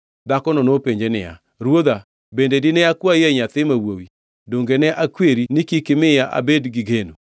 Dhakono nopenje niya, “Ruodha, bende dine akwayie nyathi ma wuowi? Donge ne akweri ni kik imiya abed gi geno?”